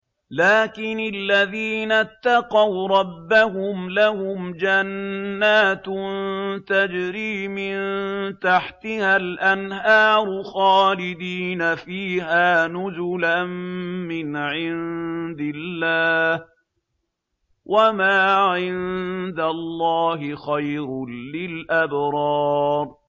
لَٰكِنِ الَّذِينَ اتَّقَوْا رَبَّهُمْ لَهُمْ جَنَّاتٌ تَجْرِي مِن تَحْتِهَا الْأَنْهَارُ خَالِدِينَ فِيهَا نُزُلًا مِّنْ عِندِ اللَّهِ ۗ وَمَا عِندَ اللَّهِ خَيْرٌ لِّلْأَبْرَارِ